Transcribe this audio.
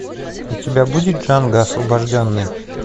у тебя будет джанго освобожденный